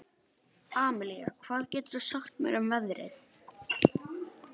Amalía, hvað geturðu sagt mér um veðrið?